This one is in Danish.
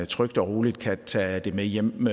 trygt og roligt kan tage det med hjem